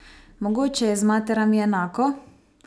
Mogoče je z materami enako?